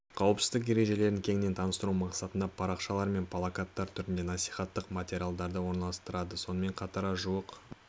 қауіпсіздік ережелерін кеңінен таныстыру мақсатында парақшалар мен плакаттар түрінде насихаттық материалдарды орналастырды сонымен қатар жуық